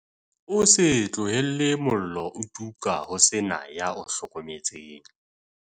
O se tlohele mollo o tuka ho se na ya o hlokometseng